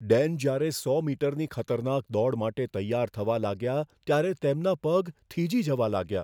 ડેન જ્યારે સો મીટરની ખતરનાક દોડ માટે તૈયાર થવા લાગ્યા, ત્યારે તેમના પગ થીજી જવા લાગ્યા.